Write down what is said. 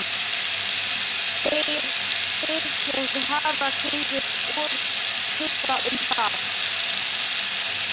Maðurinn fyrir innan borðið snýr sér snöggt undan.